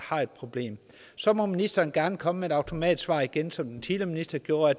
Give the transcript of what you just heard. har et problem så må ministeren gerne komme med et automatsvar igen som den tidligere minister gjorde